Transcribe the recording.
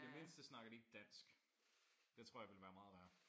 I det mindste snakker de ikke dansk. Det tror jeg ville være meget værre